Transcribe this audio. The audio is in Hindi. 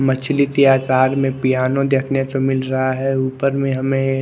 मछली के अकार में पियानो देखने को मिल रहा है ऊपर में हमे ऐ--